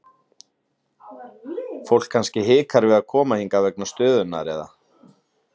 Fólk kannski hikar við koma hingað vegna stöðunnar eða?